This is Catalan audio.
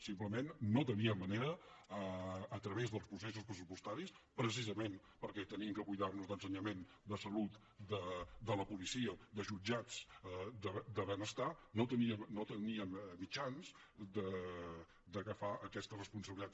simplement no teníem manera a través dels processos pressupostaris precisament perquè hem de cuidar nos d’ensenyament de salut de la policia de jutjats de benestar no teníem mitjans d’agafar aquesta responsabilitat